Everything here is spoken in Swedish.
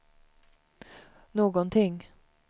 någonting